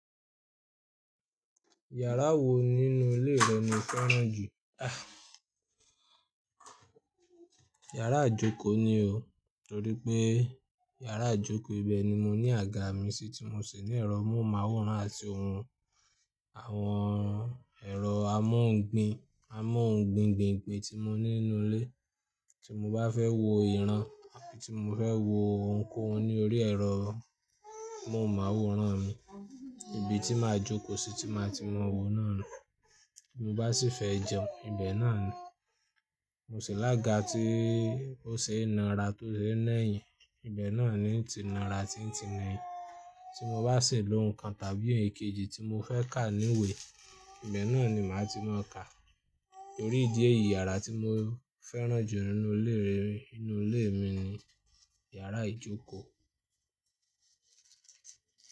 Yàrá wo nínú ilé rẹ ni o fẹ́ràn jù? Yàrá ijókò ni o. Torí pé yàrá ijókò ibẹ̀ ni mo ní àga mi sí tí mo ṣè ní ẹ̀rọ mọ́ùmáwòrán àti ohun àwọn ẹ̀rọ amóòngbin, amóòngbingbin ìpè tí mo ní nínú ilé. Tí mo bá fẹ́ wo ìran àbi tí mo fẹ́ wo oun ko oun ní orí ẹ̀rọ mọ́ùmáwòrán mi, ibi tí màá jókòó sí tí màá ti mọ̀ wo náà ni. Mo bá sì fẹ́ jẹun, ibẹ̀ náà ni. Mo ṣi lága tí ó ṣe naa ra tó ṣe no ẹ̀yìn, ibẹ̀ náà ni ti naa ra tí ń ti no ẹ̀yìn. Tí mo bá ṣè lò ǹkan tàbí èkejì tí mo fẹ́ kà ní ìwé, ibẹ̀ náà ni màá ti máa kà. Torí ìdí èyí, yàrá tí mo fẹ́ràn jù nínú ilé mi ni yàrá ìjókòó.